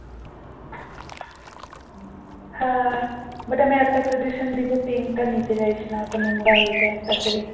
হ্যাঁ but আমি একটা suggestion দেবো pink টা নিতে যাস না। ওটা নোংরা হয়ে যায় তাড়াতাড়ি